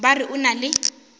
ba re o na le